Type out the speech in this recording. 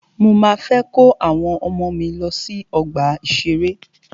Mọ máa fẹ́ kó àwọn ọmọ mí lọ sí ọgbà ìṣẹ̀rẹ́.